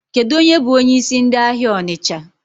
Kedụ onye bụ onyeisi ndị ahịa Ọnịcha?